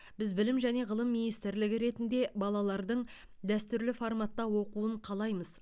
біз білім және ғылым министрлігі ретінде балалардың дәстүрлі форматта оқуын қалаймыз